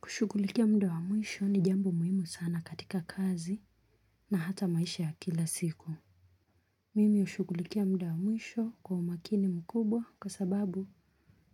Kushughulikia muda wa mwisho ni jambo muhimu sana katika kazi na hata maisha ya kila siku. Mimi ushughulikia muda wa mwisho kwa umakini mkubwa kwa sababu